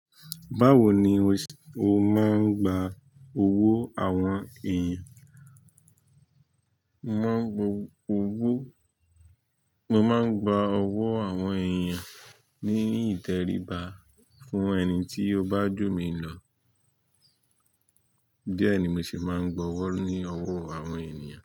Báwo ni o máa ń gba owó àwọn èèyàn? Mo máà ń gba owó àwọn èèyàn ní ìtẹríba fún ẹni tí ó bá jù mí lọ, díẹ̀ ni mo sì máa ń gba owó ní owó àwọn ènìyàn.